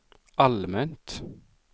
allmänt